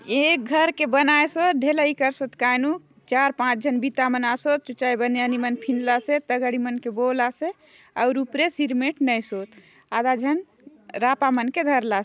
ए घर के बनाय सोत ढ़लई करसत काय नु चार पांच झन बिता मन आसोत और उपरे सिरमेंट नए सोत आधा झन रापा मन के धरलास --